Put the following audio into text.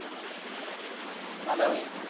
मला वय?